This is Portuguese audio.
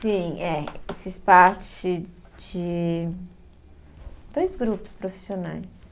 Sim, é. Fiz parte de dois grupos profissionais.